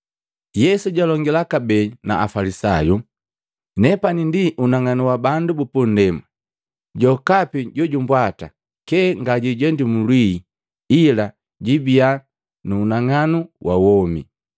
Yesu jalongila kabee na Afalisayu, “Nepani ndi unang'anu wa bandu bupundema. Jokapi jojumbwata kyee ngajiijendi nndwii, ila jibiya na unang'anu wa womi.”